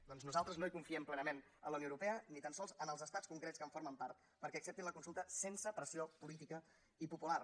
doncs nosaltres no hi confiem plenament en la unió europea ni tan sols en els estats concrets que en formen part perquè acceptin la consulta sense pressió política i popular